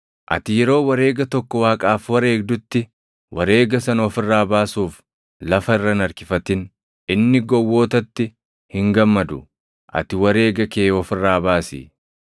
Ati yeroo wareega tokko Waaqaaf wareegdutti wareega sana of irraa baasuuf lafa irra hin harkifatin. Inni gowwootatti hin gammadu; ati wareega kee of irraa baasi.